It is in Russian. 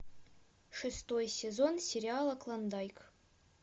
шестой сезон сериала клондайк